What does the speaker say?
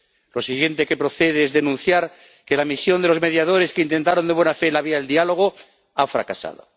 Lo siguiente que procede es denunciar que la misión de los mediadores que intentaron de buena fe la vía del diálogo ha fracasado.